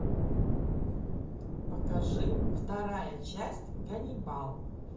покажи вторая часть ганнибал